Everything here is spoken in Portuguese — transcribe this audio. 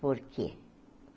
Por quê?